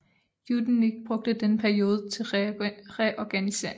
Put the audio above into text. Yudenich brugte denne periode til reorganisering